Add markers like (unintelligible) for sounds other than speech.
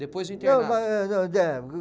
Depois do internato. (unintelligible)